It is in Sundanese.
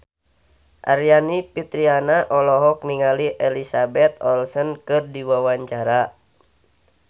Aryani Fitriana olohok ningali Elizabeth Olsen keur diwawancara